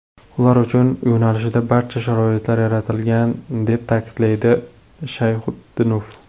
Ular uchun yo‘nalishda barcha sharoitlar yaratilgan”, deb ta’kidlaydi Shayxutdinov.